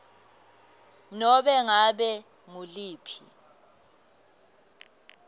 nobe ngabe nguliphi